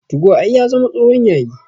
Tugo ai ya zama tsohon yayi